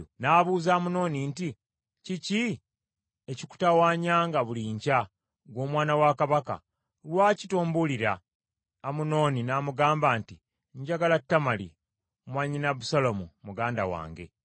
N’abuuza Amunoni nti, “Kiki ekikutawanyanga buli nkya, ggwe omwana wa kabaka? Lwaki tombulira?” Amunoni n’amugamba nti, “Njagala Tamali, mwannyina Abusaalomu muganda wange.”